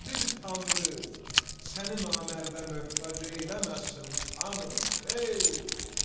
Qadir tanrı səni namərdə möhtac eyləməsin xanım, ey!